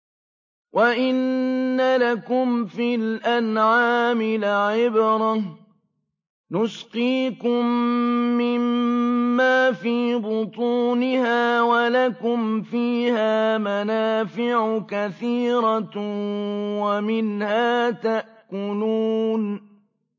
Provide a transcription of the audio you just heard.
وَإِنَّ لَكُمْ فِي الْأَنْعَامِ لَعِبْرَةً ۖ نُّسْقِيكُم مِّمَّا فِي بُطُونِهَا وَلَكُمْ فِيهَا مَنَافِعُ كَثِيرَةٌ وَمِنْهَا تَأْكُلُونَ